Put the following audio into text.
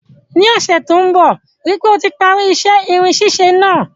Ní ọ́sẹ̀ to n bo, rípe o ti parí isẹ́ irin sísẹ náà